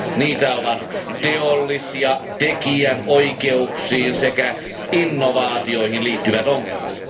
Niitä ovat teollis ja tekijänoikeuksiin sekä innovaatioihin liittyvät ongelmat.